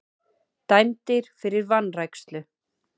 Dæmdir fyrir vanrækslu